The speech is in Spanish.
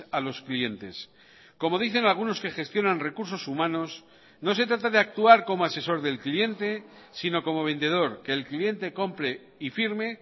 a los clientes como dicen algunos que gestionan recursos humanos no se trata de actuar como asesor del cliente sino como vendedor que el cliente compre y firme